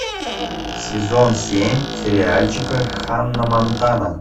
сезон семь сериальчика ханна монтана